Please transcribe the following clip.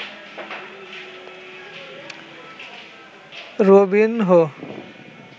Robinho